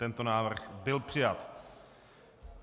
Tento návrh byl přijat.